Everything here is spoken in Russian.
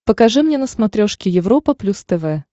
покажи мне на смотрешке европа плюс тв